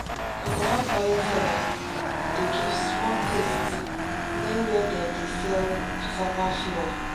coconut oil sellers dey give small taste near where dem dey sell cassava flour.